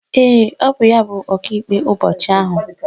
Ee, bụ ya bụ Ọkaikpe ụbọchị ahụ.